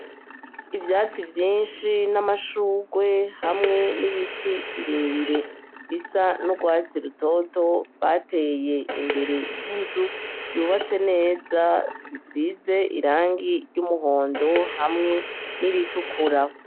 Ivyatsi vyinshi n'ama n'amashurwe hamwe n'ibiti birebire bisa n'urwatsi rutoto bateye imbere y'inzu yubatse neza isize irangi ry'umuhondo hamwe n'iritukura.